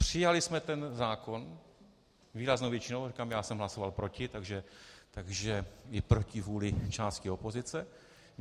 Přijali jsme ten zákon výraznou většinou - říkám, já jsem hlasoval proti -, takže i proti vůli části opozice.